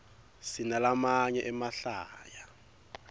sinalamaye emahlaya